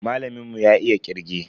Malamin mu ya iya kirge.